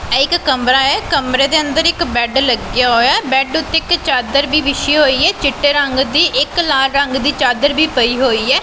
ਇਹ ਇੱਕ ਕਮਰਾ ਹੈ ਕਮਰੇ ਦੇ ਅੰਦਰ ਇੱਕ ਬੈਡ ਲੱਗਿਆ ਹੋਇਆ ਹੈ ਬੈਡ ਓੱਤੇ ਇੱਕ ਚਾਦਰ ਵੀ ਵਿੱਛਿ ਹੋਈ ਹੈ ਚਿੱਟੇ ਰੰਗ ਦੀ ਇੱਕ ਲਾਲ ਰੰਗ ਦੀ ਚਾਦਰ ਵੀ ਪਈ ਹੋਈ ਹੈ।